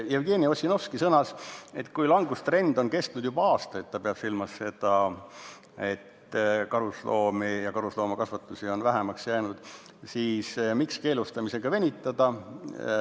Jevgeni Ossinovski sõnas, et kui langustrend on kestnud juba aastaid – ta pidas silmas, et karusloomakasvandusi on vähemaks jäänud –, siis miks keelustamisega venitada.